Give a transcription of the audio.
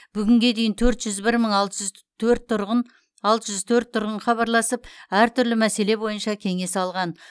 бүгінге дейін төрт жүз бір мың алты жүз төрт тұрғын хабарласып әртүрлі мәселе бойынша кеңес алған